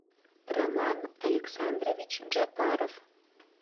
роман александрович джапаров